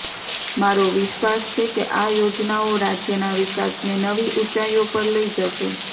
મારો વિશ્વાસ છે કે આ યોજનાઓ રાજ્યનાં વિકાસને નવી ઉંચાઇઓ પર લઇ જશે